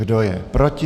Kdo je proti?